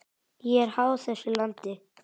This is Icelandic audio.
Ég er háð þessu landi.